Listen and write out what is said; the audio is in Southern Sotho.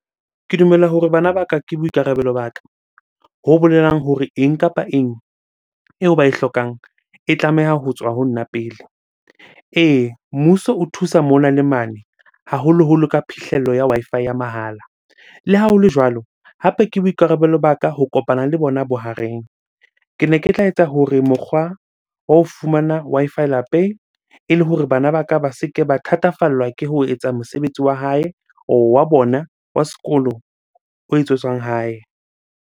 Ke dumela hore bana ba ka ke boikarabelo ba ka. Ho bolelang hore eng kapa eng eo ba e hlokang e tlameha ho tswa ho nna pele. Ee, mmuso o thusa mona le mane haholoholo ka phihlello ya Wi-Fi ya mahala. Le ha hole jwalo, hape ke boikarabelo ba ka ho kopana le bona bohareng. Kene ke tla etsa hore mokgwa wa ho fumana Wi-Fi lapeng ele hore bana ba ka ba se ke ba thatafallwa ke ho etsa mosebetsi wa hae wa bona wa sekolo o etsetswang hae.